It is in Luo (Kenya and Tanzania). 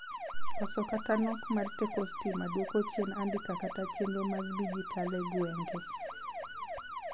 koso kata nok mar teko stima duoko chien andika kata chienro mag dijitale gwenge